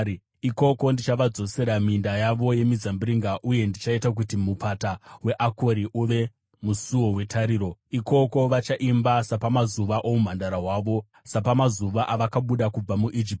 Ikoko ndichavadzosera minda yavo yemizambiringa uye ndichaita kuti mupata weAkori uve musuo wetariro. Ikoko vachaimba sapamazuva oumhandara hwavo, sapamazuva avakabuda kubva muIjipiti.